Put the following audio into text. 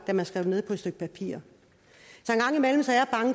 da man skrev det ned på et stykke papir